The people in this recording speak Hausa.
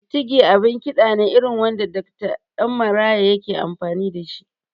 Kutigi abin kiɗa ne irin wanda Dokta Ɗan Maraya yake amfani da shi